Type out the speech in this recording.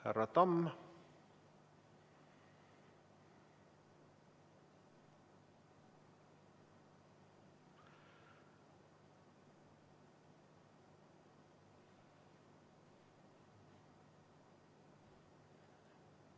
Härra Tamm?